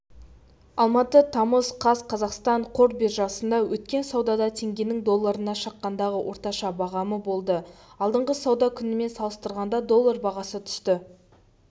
алматы тамыз қаз қазақстан қор биржасында өткен саудада теңгенің долларына шаққандағы орташа бағамы болды алдыңғы сауда күнімен салыстырғанда доллар бағасы түсті